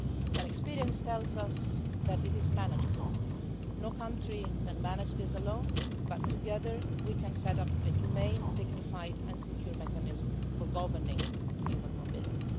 But experience tells us that it is manageable. No country can manage this alone, but together we can set up a humane, dignified and secure mechanism for governing human mobility.